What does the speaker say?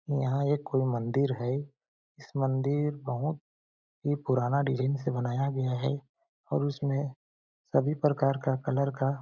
यहाँ ये कोई मंदिर है इस मंदिर बहुत ही पुराना डिज़ाइन से बनाया गया है और उसमें सभी प्रकार का कलर का --